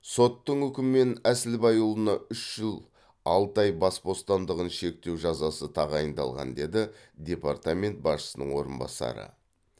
соттың үкімімен әсілбайұлына үш жыл алты ай бас бостандығын шектеу жазасы тағайындалған деді департамент басшысының орынбасары